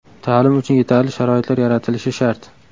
Ta’lim uchun yetarli sharoitlar yaratilishi shart.